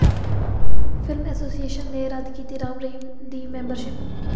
film association ਨੇ ਰੱਦ ਕੀਤੀ ਰਾਮ ਰਹੀਮ ਦੀ ਮੈਂਬਰਸ਼ਿਪ